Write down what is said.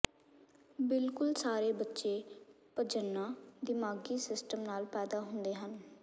ਬਿਲਕੁਲ ਸਾਰੇ ਬੱਚੇ ਪਜੰਨਾ ਦਿਮਾਗੀ ਸਿਸਟਮ ਨਾਲ ਪੈਦਾ ਹੁੰਦੇ ਹਨ